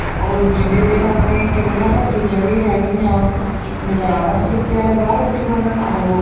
ਉਹ ਜਿੰਨੇ ਦਿਨ ਆਪਣੇ ਕਹਿ ਕਹਿਨੇ ਭੱਠੀ ਚੜੀ ਰਹਿਣੀ ਆ ਮਜਾਲ ਏ ਸ਼ਰੀਕੇ ਵਾਲੇ ਬਾਹਰ ਰੋਟੀ ਖਾ ਲੈਣ ਆਹ